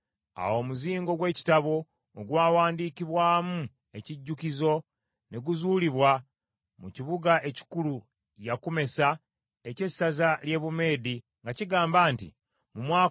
Awo omuzingo gw’ekitabo ogwawandiikibwamu ekijjukizo ne guzuulibwa mu kibuga ekikulu Yakumesa eky’essaza ly’e Bumeedi nga kigamba nti: Ekiwandiiko: